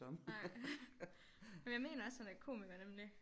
Nej men jeg mener også han er komiker nemlig